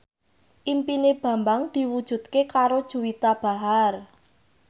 impine Bambang diwujudke karo Juwita Bahar